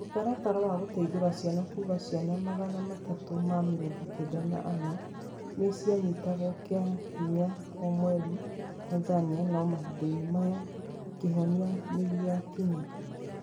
Mũtaratara wa gũteithura ciana kuga Ciana magana matatũ na mĩrongo kenda na ana nĩ cianyitagwo kĩa hinya o mweri Tanzania no mahinda-inĩ maya, kĩhonia nĩ gĩakinya